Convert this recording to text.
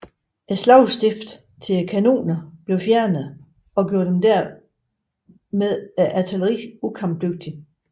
Slagstiften til kanonerne blev fjernet og gjorde dermed artilleriet ukampdygtigt